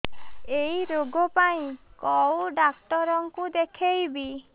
ଏଇ ରୋଗ ପାଇଁ କଉ ଡ଼ାକ୍ତର ଙ୍କୁ ଦେଖେଇବି